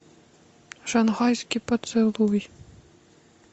шанхайский поцелуй